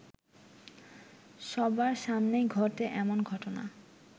সবার সামনেই ঘটে এমন ঘটনা